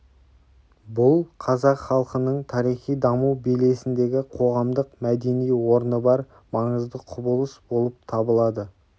бұл қазақ халқының тарихи даму белесіндегі қоғамдық-мәдени орны бар маңызды құбылыс болып табылады